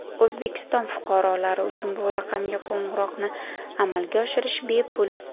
O‘zbekiston fuqarolari uchun bu raqamga qo‘ng‘iroqni amalga oshirish bepul.